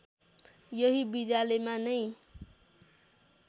यही विद्यालयमा नै